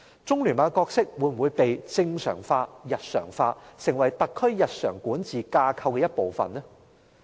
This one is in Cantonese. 中聯辦的角色會否被正常化、日常化，成為特區日常管治架構的一部分？